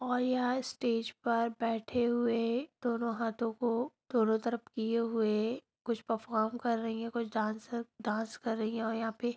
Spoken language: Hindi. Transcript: और यहाँ स्टेज पर बैठे हुए दोनों हाथों को दोनों तरफ किए हुए कुछ परफ़ॉर्म कर रही है कोई डान्स डान्स कर रही है और यहाँ पे।